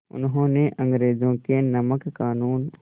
उन्होंने अंग्रेज़ों के नमक क़ानून